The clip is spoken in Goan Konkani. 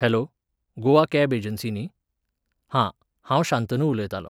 हॅलो, गोवा कॅब एजन्सी न्ही? हां, हांव शांतनू उलयतालों.